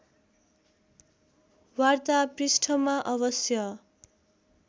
वार्ता पृष्ठमा अवश्य